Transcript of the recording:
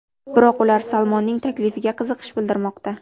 Biroq ular Salmonning taklifiga qiziqish bildirmoqda.